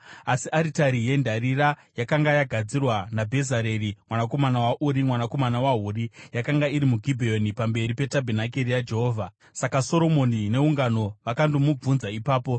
Asi aritari yendarira yakanga yagadzirwa naBhezareri mwanakomana waUri, mwanakomana waHuri, yakanga iri muGibheoni pamberi peTabhenakeri yaJehovha; saka Soromoni neungano vakandomubvunza ipapo.